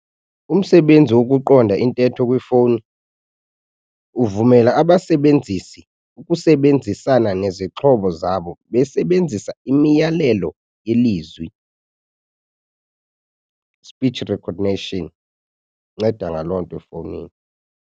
Umsebenzi wokuqonda intetho kwifowuni uvumela abasebenzisi ukusebenzisana nezixhobo zabo besebenzisa imiyalelo yelizwi speech recognition, inceda ngaloo nto efowunini.